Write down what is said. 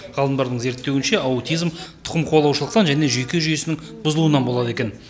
ғалымдардың зерттеуінше аутизм тұқым қуалаушылықтан және жүйке жүйесінің бұзылуынан болады екен